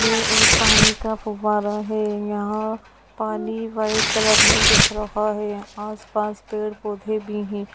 ये एक पानी का फुव्वारा है यहाँ पानी व्हाइट कलर मे दिख रहा है आस-पास पेड़-पौधे भी है।